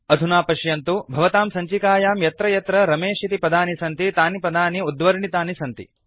अधुना पश्यन्तु भवतां सञ्चिकायां यत्र यत्र रमेश इति पदानि सन्ति तानि पदानि उद्वर्णितानि सन्ति